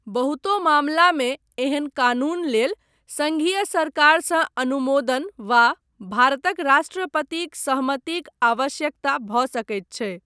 बहुतो मामलामे ऐहन कानून लेल संघीय सरकारसँ अनुमोदन वा भारतक राष्ट्रपतिक सहमतिक आवश्यकता भऽ सकैत छै।